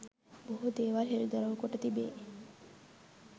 බොහෝ දේවල් හෙළිදරව් කොට තිබේ